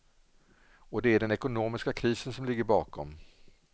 Och det är den ekonomiska krisen som ligger bakom.